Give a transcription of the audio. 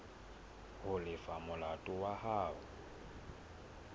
ho lefa molato wa hao